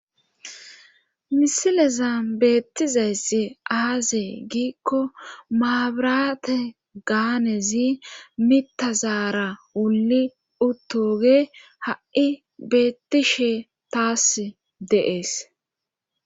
misilezan beettizayssi aazee giikko maabiraate gaanezi mitazaara wulli uttoge ha7i beettishe taas de'ees